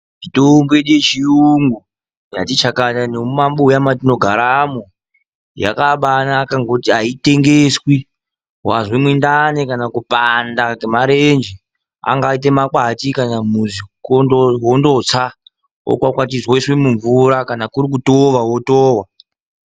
Mitombo yedu yechiyungu yakati chakata mumabuya matinogaramo yakabanaka. Ngekuti haitengeswi vanzwa munhdani, kana kupanda ,kwemareje angaite makwati kana musi vondotsa vokwakwatidze voisa mumvura kana kurikutowa wotova.